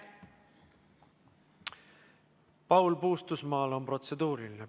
Paul Puustusmaal on protseduuriline.